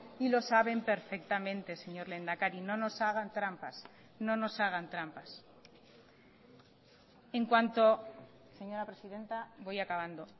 y lo saben perfectamente señor lehendakari no nos hagan trampas no nos hagan trampas en cuanto señora presidenta voy acabando